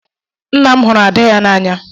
Nna m hụrụ ada ya n'anya.